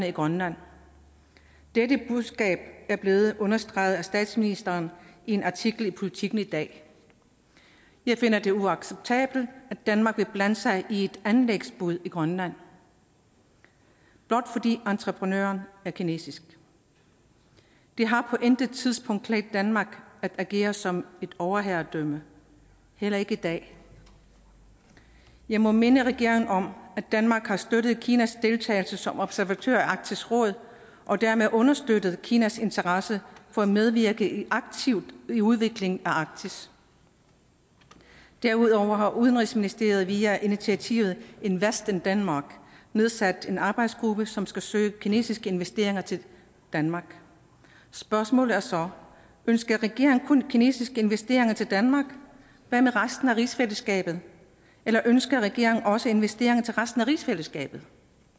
i grønland dette budskab er blevet understreget af statsministeren i en artikel i politiken i dag jeg finder det uacceptabelt at danmark vil blande sig i et anlægsbud i grønland blot fordi entreprenøren er kinesisk det har på intet tidspunkt klædt danmark at agere som et overherredømme heller ikke i dag jeg må minde regeringen om at danmark har støttet kinas deltagelse som observatør i arktisk råd og dermed understøttet kinas interesse for at medvirke aktivt i udviklingen af arktis derudover har udenrigsministeriet via initiativet invest in denmark nedsat en arbejdsgruppe som skal søge kinesiske investeringer til danmark spørgsmålet er så ønsker regeringen kun kinesiske investeringer til danmark hvad med resten af rigsfællesskabet eller ønsker regeringen også investeringer til resten af rigsfællesskabet